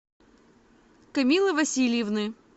камиллы васильевны